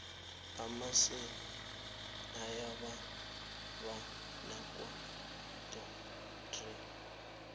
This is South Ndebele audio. amasi ayababa nakawodwa tere